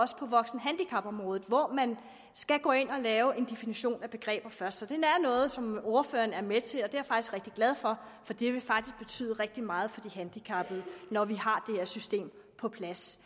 også på voksenhandicapområdet hvor man skal gå ind at lave en definition af begreber først så det er noget som ordføreren er med til er jeg faktisk rigtig glad for for det vil faktisk betyde rigtig meget for de handicappede når vi har her system på plads